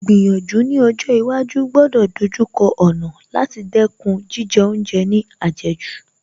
Ìgbìyànjú ní ọjọ́ iwájú gbọ́dọ̀ ìdojúkọ ọ̀nà láti dẹ́kun jíjẹ oúnjẹ ní àjẹjù